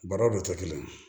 Baaraw de tɛ kelen ye